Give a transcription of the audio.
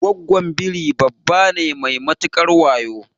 Gwaggon Biri dabba ne mai matukar wayo